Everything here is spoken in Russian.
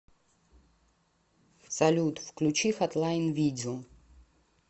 салют включи хатлайн видео